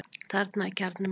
Þarna er kjarni málsins.